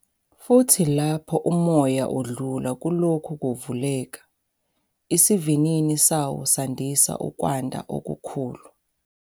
Futhi lapho umoya udlula kulokhu kuvuleka, isivinini sawo sandisa ukwanda okukhulu.